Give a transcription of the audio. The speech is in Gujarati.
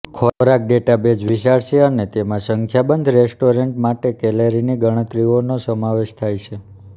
ખોરાક ડેટાબેઝ વિશાળ છે અને તેમાં સંખ્યાબંધ રેસ્ટોરન્ટ્સ માટે કેલરીની ગણતરીઓનો સમાવેશ થાય છે